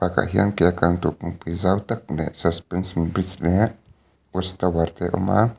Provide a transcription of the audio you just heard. tah hian ke a kal na tur kawngpui zau tak leh suspension bridge leh tower te a awm a.